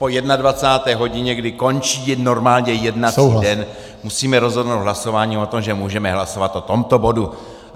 Po 21. hodině, kdy končí normálně jednací den, musíme rozhodnout hlasováním o tom, že můžeme hlasovat o tomto bodu.